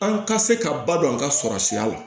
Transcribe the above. An ka se ka ba don an ka sɔrɔ sira la